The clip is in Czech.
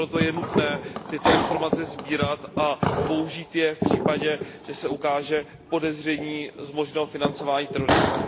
A proto je nutné tyto informace sbírat a použít je v případě, že se ukáže podezření z možného financování terorismu.